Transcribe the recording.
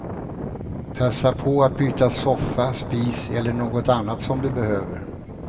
Passa på att byta soffa, spis eller något annat som du behöver.